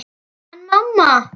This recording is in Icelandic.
En mamma!